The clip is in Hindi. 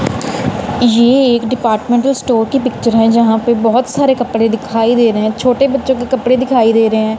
ये एक डिपार्टमेंटल स्टोर की पिक्चर है जहां पे बहुत सारे कपड़े दिखाई दे रहे हैं छोटे बच्चों के कपड़े दिखाई दे रहे हैं।